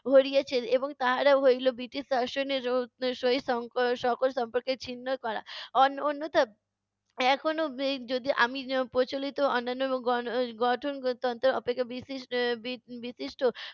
এবং তাহারা হইলো বৃটিশ সহিত সকল সম্পর্ক ছিন্ন করা। অন্য~ অন্যথা এখনো যদি আমি প্রচলিত অন্যান্য গণ~ গঠনতন্ত্র অপেক্ষা বিশিষ্ট